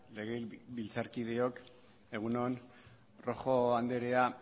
legebiltzarkideok egun on rojo andrea